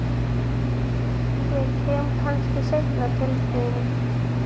Ég kem kannski seinna til þín.